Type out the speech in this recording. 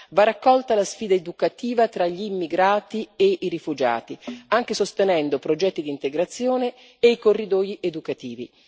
Va raccolta la sfida educativa tra gli immigrati e i rifugiati, anche sostenendo progetti di integrazione e corridoi educativi.